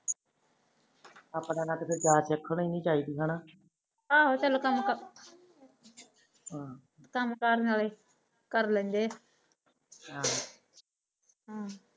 ਆਪਣਾ ਆਹੋ ਚਲੋ ਕਮ ਕਮ ਕਰਨ ਆਲੇ ਕਰ ਲੈਂਦੇ ਹਮ